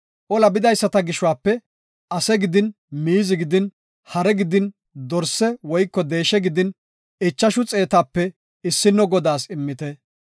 Ola bidaysata gishuwape ase gidin miizi gidin hare gidin dorse woyko deeshe gidin ichashu xeetape issino Godaas immite.